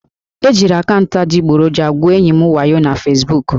E jiri akaụntụ adịgboroja gwuo enyi m wayo na Fesbuku